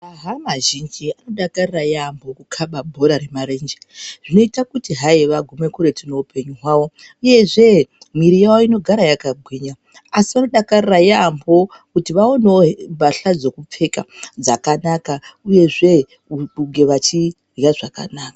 Hama zhinji anodakarira yambo kuda kukaba bhora remarenje zvinoita kuti hai vagume kuretu neupenyu hwavo uyezve mwiri yawo inogara yakagwinya asi vanodakarira yambo kuti vaonewo mbahla dzekupfeka dzakanaka uyezve vachirya zvakanaka.